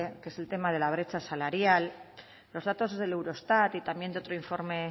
que es el tema de la brecha salarial los datos del eurostat y también de otro informe